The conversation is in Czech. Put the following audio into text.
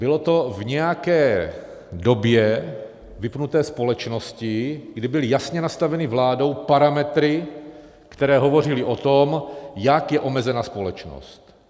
Bylo to v nějaké době vypnuté společnosti, kdy byly jasně nastavené vládou parametry, které hovořily o tom, jak je omezena společnost.